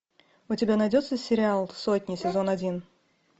у тебя найдется сериал сотня сезон один